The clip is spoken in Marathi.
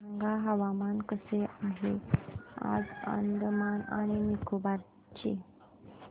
सांगा हवामान कसे आहे आज अंदमान आणि निकोबार चे